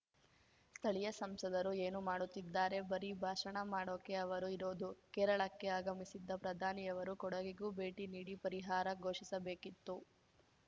ಸ್ಥಳೀಯ ಸಂಸದರು ಏನು ಮಾಡುತ್ತಿದ್ದಾರೆ ಬರಿ ಭಾಷಣ ಮಾಡೋಕೆ ಅವರು ಇರೋದು ಕೇರಳಕ್ಕೆ ಆಗಮಿಸಿದ್ದ ಪ್ರಧಾನಿಯವರು ಕೊಡಗಿಗೂ ಭೇಟಿ ನೀಡಿ ಪರಿಹಾರ ಘೋಷಿಸಬೇಕಿತ್ತು